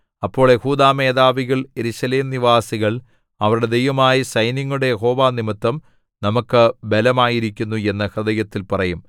അപ്പോൾ യെഹൂദാമേധാവികൾ യെരൂശലേം നിവാസികൾ അവരുടെ ദൈവമായ സൈന്യങ്ങളുടെ യഹോവ നിമിത്തം നമുക്ക് ബലമായിരിക്കുന്നു എന്നു ഹൃദയത്തിൽ പറയും